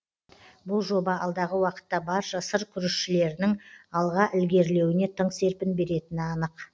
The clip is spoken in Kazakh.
бұл жоба алдағы уақытта барша сыр күрішшілерінің алға ілгерілеуіне тың серпін беретіні анық